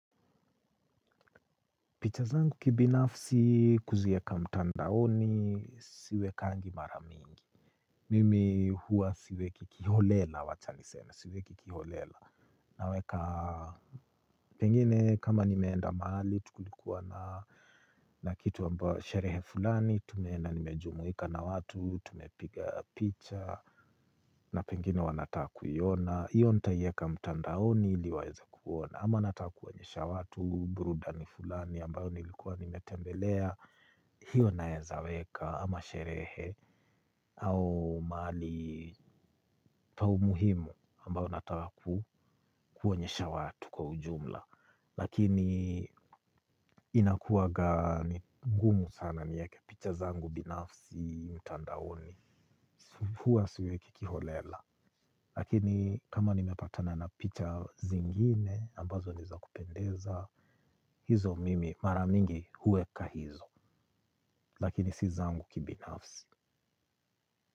Picha zangu kibinafsi kuziweka mtandaoni siwekangi mara mingi. Mimi huwa siweki kiholela wacha niseme. Siweki kiholela. Naweka pengine kama nimeenda mahali kulikuwa na kitu ambayo sherehe fulani. Tumeenda nimejumuika na watu. Tumepiga picha. Na pengine wanataka kuiona. Hiyo nitaiweka mtandaoni ili waweze kuona. Ama nataka kuonyesha watu burudani fulani ambayo nilikuwa nimetembelea. Hiyo naweza weka ama sherehe. Au mahali pa umuhimu ambayo nataka kuonyesha watu kwa ujumla. Lakini inakuanga ni ngumu sana niweke picha zangu binafsi mtandaoni huwa siweki kiholela. Lakini kama nimepatana na picha zingine ambazo ni za kupendeza hizo mimi mara mingi huweka hizo lakini si zangu kibinafsi.